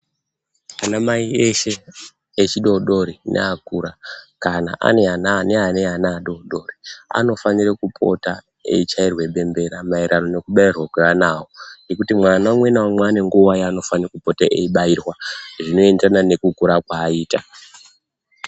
Anamai eshe echidodori neakura, kana ane ana ane ana adodori anofanire kupota eichairwe bembera maererano nokubairwa kweana avo, ngekuti mwana umwe naumwe ane nguwa yeanofane kupota eibairwa zvinoenderana nekukura kwaaita.